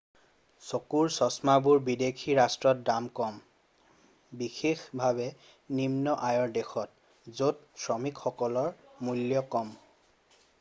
চকুৰ চশমাবোৰ বিদেশী ৰাষ্ট্ৰত দাম কম বিশেষভাৱে নিন্ম আয়ৰ দেশত য'ত শ্ৰমিকৰ মূল্য কম